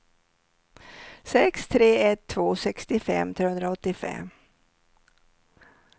sex tre ett två sextiofem trehundraåttiofem